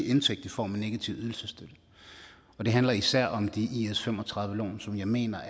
indtægt i form af negativ ydelsesstøtte og det handler især om de her is35 lån jeg mener